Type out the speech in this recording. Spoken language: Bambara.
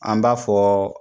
An b'a fɔ